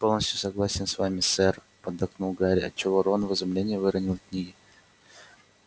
полностью согласен с вами сэр поддакнул гарри отчего рон в изумлении выронил книги